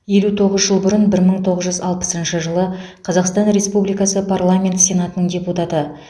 елу тоғыз жыл бұрын бір мың тоғыз жүз алпысыншы қазақстан республикасы парламент сенатының депутаты